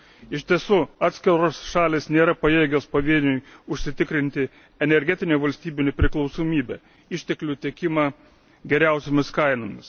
Iš tiesų atskiros šalys nėra pajėgios pavieniui užsitikrinti energetinę valstybių nepriklausomybę, išteklių tiekimą geriausiomis kainomis.